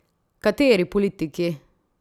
Kateri politiki?